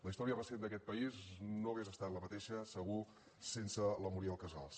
la història recent d’aquest país no hagués estat la mateixa segur sense la muriel casals